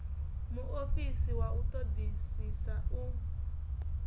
muofisi wa u ṱoḓisisa u